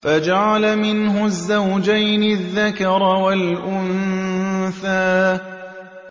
فَجَعَلَ مِنْهُ الزَّوْجَيْنِ الذَّكَرَ وَالْأُنثَىٰ